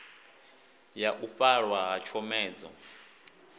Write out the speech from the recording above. ya u fhaṱwa ha tshomedzo